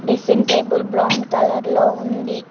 Dressing table brown కలర్లో ఉంది.